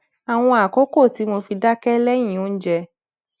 àwọn àkókò tí mo fi dáké léyìn oúnjẹ